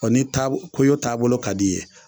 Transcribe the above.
O ni taa taabolo ka di i ye